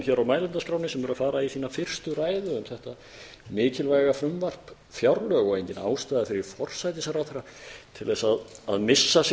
hér á mælendaskránni sem eru að fara í sína fyrstu ræðu um þetta mikilvæga frumvarp fjárlög og engin ástæða fyrir forsætisráðherra til að missa sig